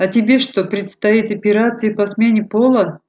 а тебе что предстоит операция по смене пола